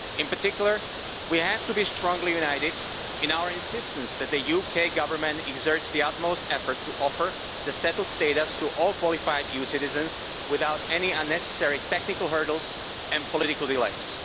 In particular, we have to be strongly united in our insistence that the UK Government exert the utmost effort to offer the settled status to all qualified EU citizens without any unnecessary technical hurdles and political delays.